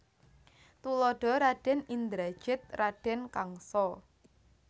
Tuladha Radèn Indrajit Radèn Kangsa